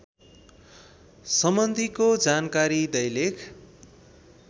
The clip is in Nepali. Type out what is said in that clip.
सम्बन्धीको जानकारी दैलेख